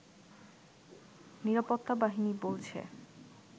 নিরাপত্তা বাহিনী বলছে